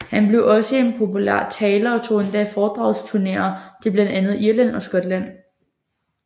Han blev også en populær taler og tog endda på foredragsturneer til blandt andet Irland og Skotland